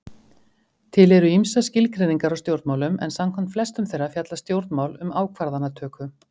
Til eru ýmsar skilgreiningar á stjórnmálum, en samkvæmt flestum þeirra fjalla stjórnmál um ákvarðanatöku.